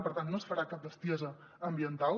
per tant no es farà cap bestiesa ambiental